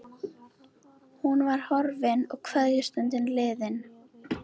Hún var horfin og kveðjustundin liðin hjá.